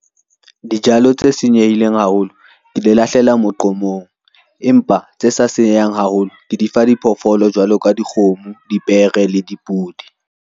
Dijalo tse senyehileng haholo ke di lahlela moqomong, empa tse sa senyehang haholo ke di fa diphoofolo jwalo ka dikgomo, dipere le dipudi.